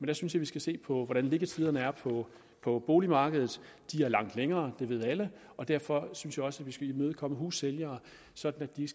jeg synes vi skal se på hvordan liggetiderne er på boligmarkedet de er langt længere det ved alle og derfor synes jeg også at vi skal imødekomme hussælgere sådan at de